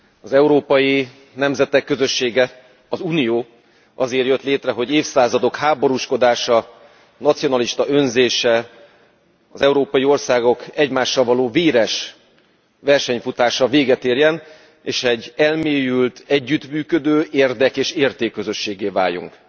Elnök Úr, az Európai Nemzetek Közössége, az Unió, azért jött létre, hogy évszázadok háborúskodása, nacionalista önzése az európai országok egymással való véres versenyfutása véget érjen, és egy elmélyült, együttműködő érdek és értékközösséggé váljunk.